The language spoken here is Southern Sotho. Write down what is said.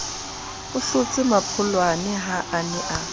hlotse mmampholwane ha a ne